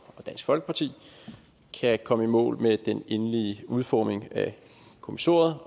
dansk folkeparti kan komme i mål med den endelige udformning af kommissoriet